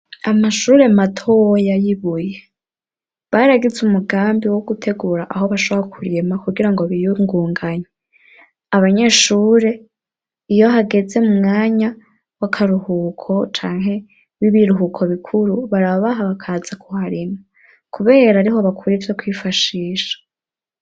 Amashure matoya y'i Buye, baragize umugambi wo gutegura aho bashobora kurima kugirango biyungunganye, abanyeshure iyo hageze mu mwanya w'akaruhuko canke w'ibiruhuko bikuru barabaha bakaza kuharima kubera ariho bakura ivyo kwifashisha.